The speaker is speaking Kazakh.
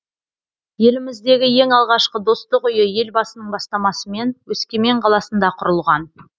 еліміздегі ең алғашқы достық үйі елбасының бастамасымен өскемен қаласында құрылған